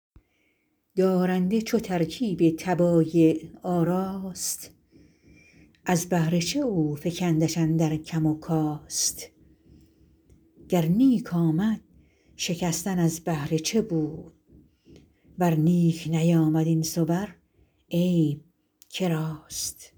دارنده چو ترکیب طبایع آراست از بهر چه افکندش اندر کم و کاست گر نیک آمد شکستن از بهر چه بود ور نیک نیامد این صور عیب که راست